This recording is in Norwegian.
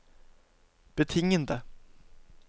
betingede